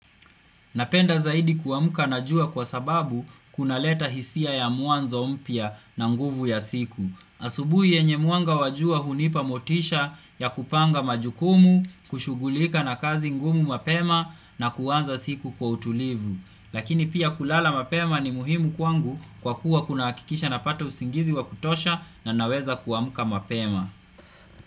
Napenda zaidi kuamka na jua kwa sababu kuna leta hisia ya mwanzo mpya na nguvu ya siku. Asubuhi yenye mwanga wa jua hunipa motisha ya kupanga majukumu, kushugulika na kazi ngumu mapema na kuanza siku kwa utulivu. Lakini pia kulala mapema ni muhimu kwangu kwa kuwa kuna hakikisha napata usingizi wa kutosha na naweza kuamka mapema.